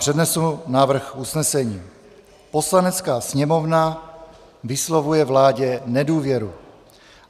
Přednesu návrh usnesení: "Poslanecká sněmovna vyslovuje vládě nedůvěru."